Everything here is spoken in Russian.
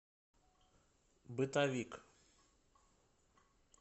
бытовик